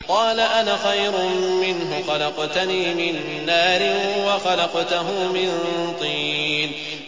قَالَ أَنَا خَيْرٌ مِّنْهُ ۖ خَلَقْتَنِي مِن نَّارٍ وَخَلَقْتَهُ مِن طِينٍ